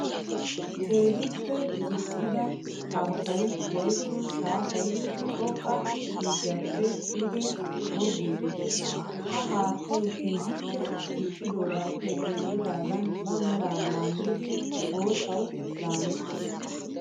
Keehippe kixxidda haattay woykko shaafay xoqqa kakkappe duge goggidde de'ees. Ha haattay keehippe kixxogappe denddigan ba mera laamiddi boottawu laamettis.